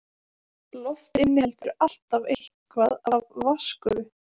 Loft inniheldur alltaf eitthvað af vatnsgufu.